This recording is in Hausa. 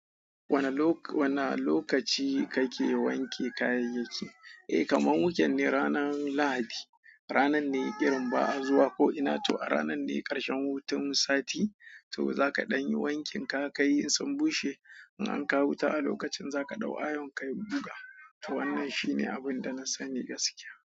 Wana lokaci kake wanke kayayyaki? Eh kaman wuken ne ranar lahadi. Ranar ne irin ba a zuwa ko ina to a ranan ne karshen hutun sati. To zaka ɗan yi wankin ka ka yi in sun bushe. In an kawo wuta a lokacin za ka ɗau ayon kayi buga. To wannan shine abun da na sani gaskiya.